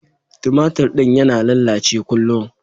Tumatir din yana lallace kullun.